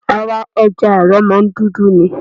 Ara ẹja àrọ̀ máa ń dúdú ni.